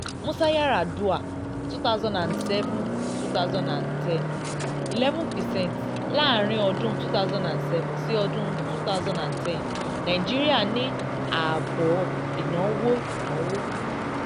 musa yaradua two thousand and seven two thousand and ten eleven percent láàárín ọdún two thousand and seven sí ọdún two thousand and ten nàìjíríà ní ààbọ̀ ìnáwó ìnáwó